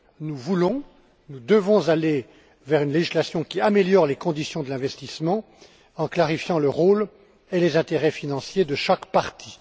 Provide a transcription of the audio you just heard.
Nous voulons, nous devons aller vers une législation qui améliore les conditions de l'investissement en clarifiant le rôle et les intérêts financiers de chaque partie.